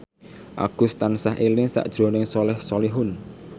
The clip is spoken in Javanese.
Agus tansah eling sakjroning Soleh Solihun